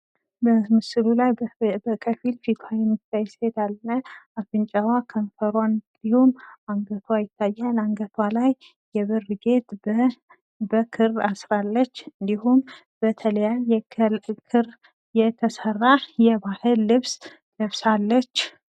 በምስሉ ላይ በከፊል ፊቷ የሚታይ ሴት አለች ።አፍንጫዋ፣ ከንፈሯ እንዲሁም አንገቷ ይታያል። አንገቷ ላይ የብር ጌጥ በክር አስራለች። እንዲሁም በተለያየ ክር የተሰራ የባህል ልብስ ለብሳለች ።